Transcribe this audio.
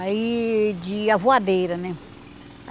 Aí de... a voadeira, né?